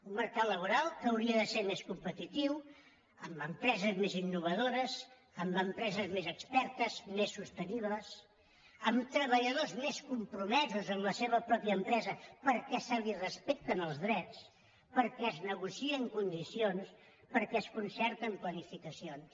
un mercat laboral que hauria de ser més competitiu amb empreses més innovadores amb empreses més expertes més sostenibles amb treballadors més compromesos amb la seva pròpia empresa perquè se’ls respecten els drets perquè es negocien condicions perquè es concerten planificacions